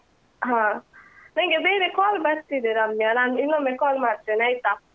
ಹಾ ನನ್ಗೆ ಬೇರೆ call ಬರ್ತಿದೆ ರಮ್ಯಾ ನಾನ್ ಇನ್ನೊಮ್ಮೆ call ಮಾಡ್ತೇನೆ ಆಯ್ತಾ.